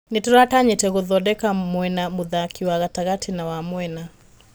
Nĩ tũratanyĩte gũthodeka mwena mũthaki wa gatagatĩ na wa mwena.